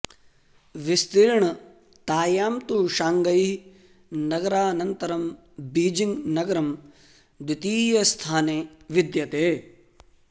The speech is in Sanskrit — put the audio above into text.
विस्तीर्णतायां तु शाङ्गै नगरानन्तरं बीजिङ्ग् नगरं द्वितीयस्थाने विद्यते